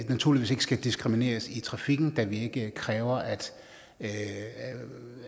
naturligvis ikke skal diskrimineres i trafikken da vi ikke kræver at at